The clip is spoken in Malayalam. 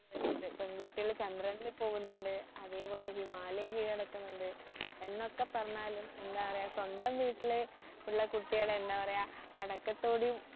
പെൺകുട്ടികൾ ചന്ദ്രനിൽ പോകുന്നുണ്ട് അതേപോലെ ഹിമാലയം കീഴടക്കുന്നുണ്ട് എന്നൊക്കെ പറഞ്ഞാലും എന്താ പറയ സ്വന്തം വീട്ടിലുള്ള കുട്ടികളെ എന്താ പറയ അടക്കത്തോടെയും